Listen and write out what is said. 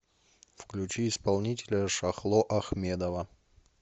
включи исполнителя шахло ахмедова